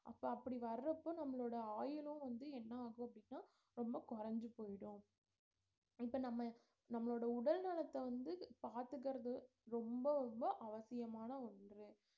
அப்ப அப்படி வரப்ப நம்மளோட ஆயுளும் வந்து என்ன ஆகும் அப்படின்னா ரொம்ப கொறஞ்சு போய்டும் இப்ப நம்ம நம்மளோட உடல் நலத்தை வந்து பார்த்துக்கிறது ரொம்ப ரொம்ப அவசியமான ஒன்று